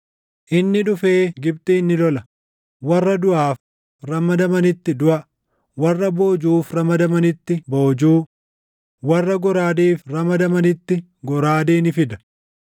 Inni dhufee Gibxin ni lola; warra duʼaaf ramadamanitti duʼa, warra boojuuf ramadamanitti boojuu, warra goraadeef ramadamanitti goraadee ni fida.